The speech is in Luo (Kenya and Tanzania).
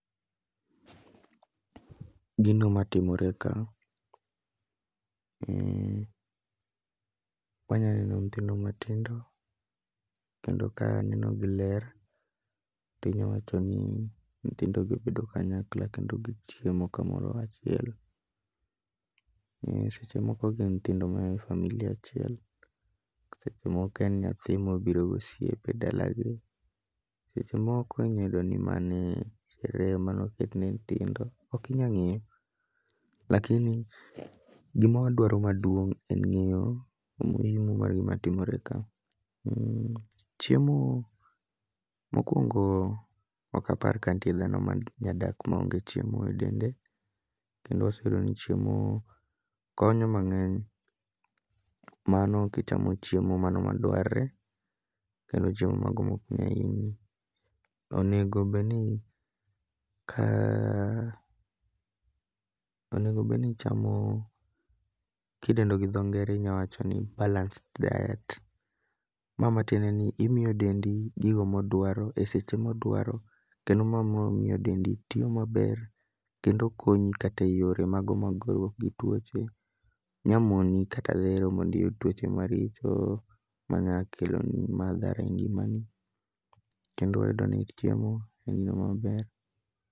Gino matimore ka, wanya neno nythindo matindo. Kendo ka aneno gi ler, tinya wacho ni nyithindo gi obedo kanyakla kendo gichiemo kamoro achiel. Seche moko gin nyithindo ma a e family achiel, to seche moko en nyathi mobiro gosiepe e dala gi. Seche moko inya yudo ni e reye manoketne nyithindo, okinya ng'eyo. Lakini gima wadwaro maduong' en ng'iyo omuimu mar gima timore ka. Chiemo mokwongo okapar ka nitie dhano ma nya dak maonge chiemo e dende. kendo wase yudo ni chiemo konyo mang'eny, mano kichamo chiemo mano ma dwarre kendo chiemo mago mok nya hinyi. Onego bedni ka onego bedni ichamo kidendo gi dho ngere idendo ni balanced diet. Ma matiende ni imiyo dendi gigo modwro e seche modwaro, kendo ma miyo dendi tiyo maber kendo konyi e yore mago mag goruok gi tuoche. Nya moni kata dhero mondiyud tuoche maricho manya keloni madhara e ngima ni. Kendo wayudo ni chiemo en gino maber.